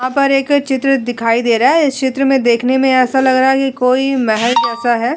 यहां पर एक चित्र दिखाई दे रहा है। इस चित्र में देखने में ऐसा लग रहा है कि कोई महल जैसा है।